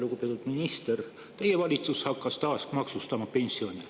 Lugupeetud minister, teie valitsus hakkab taas maksustama pensione.